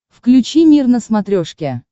включи мир на смотрешке